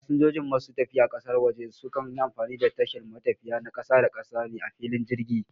Fasanjoji masu tafiya ƙasar waje za suyi amfani da tashar matafiya na ƙasa-da-ƙasa ne a filin jirgi